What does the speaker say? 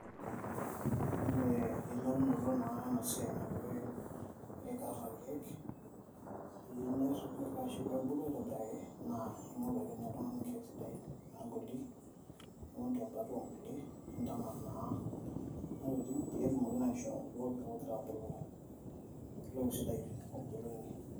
Ore eyiolounoto enasiai naikarieki irkiek peebulu aitobiraki na ingoru akeenye oltungani irkiek sidain, nintaman tiatua ngulie peetumoki atubulu, entoki sidai nabulunye.